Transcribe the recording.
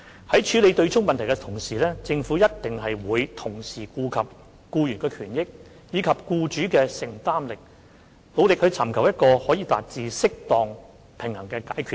在處理對沖問題時，政府必然會同時顧及僱員的權益，以及僱主的承擔力，努力尋求一個可以達致適當平衡的解決方案。